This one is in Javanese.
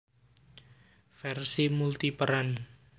Versi multiperan